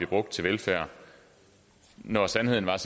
brugt til velfærd når sandheden er